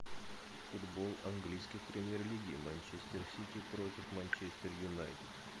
футбол английской премьер лиги манчестер сити против манчестер юнайтед